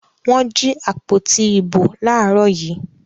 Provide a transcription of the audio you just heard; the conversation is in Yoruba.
Wọ́n jí àpótí ìbò láàárọ̀ yìí.